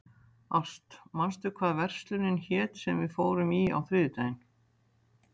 Ást, manstu hvað verslunin hét sem við fórum í á þriðjudaginn?